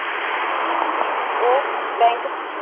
ਉਹ bank 'ਚ